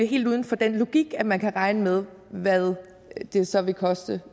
helt uden for den logik at man kan regne med hvad det så vil koste